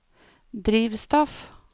drivstoff